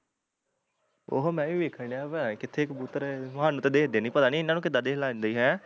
ਉਹੋ ਮੈਂ ਵੀ ਵੇਖਣ ਡਿਆ ਪਤਾ ਨੀ ਕਿੱਥੇ ਕਬੂਤਰ ਸਾਨੂੰ ਤੇ ਦਿੱਖਦੇ ਨੀ ਪਤਾ ਨੀ ਇਹਨਾਂ ਨੂੰ ਕਿੱਦਾਂ ਦਿਸਣ ਲੱਗ ਜਾਂਦੇ ਈ ਹੈਂ